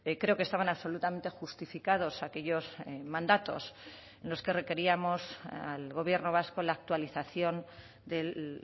creo que estaban absolutamente justificados aquellos mandatos en los que requeríamos al gobierno vasco la actualización de